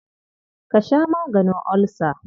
Ka sha maganin olsa.